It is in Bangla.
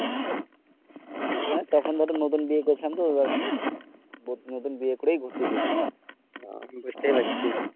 মানে তখন ধরো নতুন বিয়ে করেছিলাম তো এবার নতুন নতুন বিয়ে করেই ঘুরতে গিয়েছিলাম আহ বুঝতেই পারছো